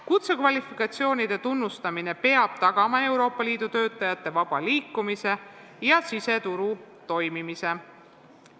Kutsekvalifikatsioonide tunnustamine peab tagama Euroopa Liidu töötajate vaba liikumise ja siseturu toimimise.